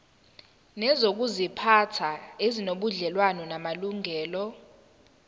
nezokuziphatha ezinobudlelwano namalungelo